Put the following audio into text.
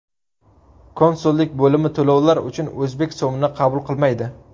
Konsullik bo‘limi to‘lovlar uchun o‘zbek so‘mini qabul qilmaydi.